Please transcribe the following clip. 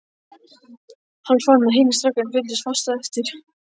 Hann fann að hinir strákarnir fylgdu fast á eftir.